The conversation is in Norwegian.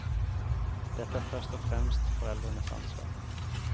Dette er først og fremst foreldrenes ansvar.